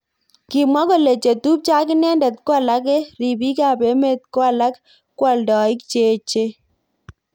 Kimwa kole chetubjo ak inendet ko alake ribik ab emet ko alak ko aldaik cheech.